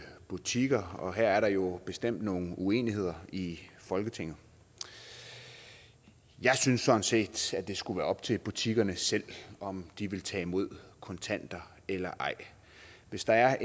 butikker og her er der jo bestemt nogle uenigheder i folketinget jeg synes sådan set at det skulle være op til butikkerne selv om de vil tage imod kontanter eller ej hvis der er